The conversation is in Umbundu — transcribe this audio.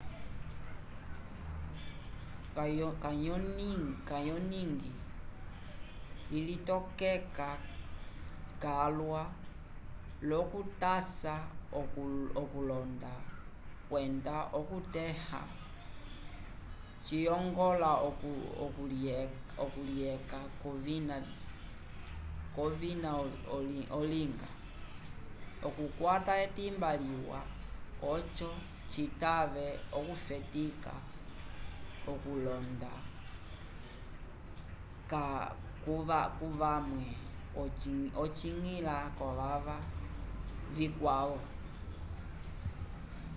canyoning ilitokeka calwa l’okutasa okulonda kwenda okutẽha ciyongola okulyeca k’ovina olinga okukwata etimba liwa oco citave okufetika okulonda k’ovawe okwiñgila k’ovava vikwavo